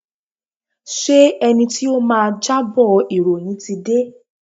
Ṣé ẹni tí ó máa jábọ̀ ìròyìn ti dé?